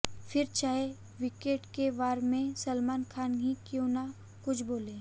फिर चाहे वीकेंड के वार में सलमान खान ही क्यों ना कुछ बोलें